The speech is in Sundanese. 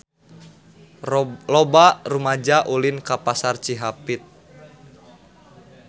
Loba rumaja ulin ka Pasar Cihapit